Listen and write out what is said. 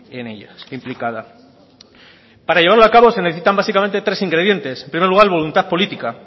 en ellas implicadas para llevarlo a cabo se necesitan básicamente tres ingredientes en primer lugar voluntad política